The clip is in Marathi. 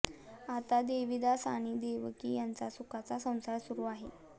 आता देवीदास आणि देवकी यांचा सुखाचा संसार सुरू आहे